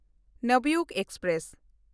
Navyug express